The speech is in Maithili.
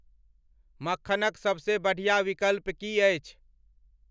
मख्खनक सबसे बढ़िया विकल्प की अछि